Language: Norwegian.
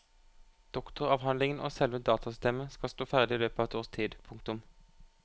Doktoravhandlingen og selve datasystemet skal stå ferdig i løpet av et års tid. punktum